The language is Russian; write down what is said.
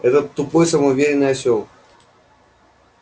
этот тупой самоуверенный осёл